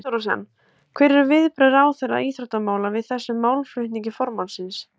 Þorbjörn Þórðarson: Hver eru viðbrögð ráðherra íþróttamála við þessum málflutningi formannsins?